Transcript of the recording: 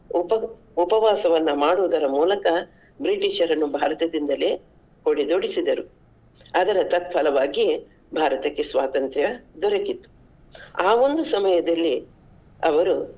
ಉಪ~ ಉಪವಾಸವನ್ನ ಮಾಡುದರ ಮೂಲಕ ಬ್ರಿಟಿಷರನ್ನು ಭಾರತದಿಂದಲೇ ಹೊಡೆದೋಡಿಸಿದರು. ಅದರ ತಕ್ಕ್ಫಲವಾಗಿ ಭಾರತಕ್ಕೆ ಸ್ವಾತಂತ್ರ್ಯ ದೊರಕಿತು. ಆ ಒಂದು ಸಮಯದಲ್ಲಿ ಅವರು.